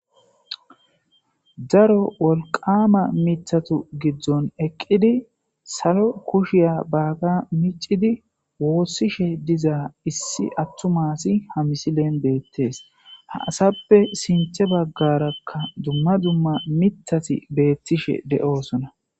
Daro wolqama mitatu giddon eqqidi salo kushiya baaga micidi woossishe dizaa issi attumasi ha misilen beettees ha asappe sinthe baggarakka dumma dumma mitati beettishe de'osona.